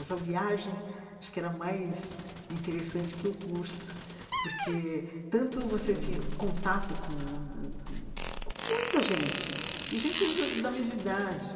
Essa viagem acho que era mais interessante que o curso, porque tanto você tinha contato com ãh com com muita gente, e gente da da mesma idade.